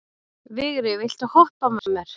Vigri, viltu hoppa með mér?